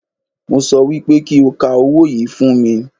Mo sọ wípé kí o ka owó yìí fún mi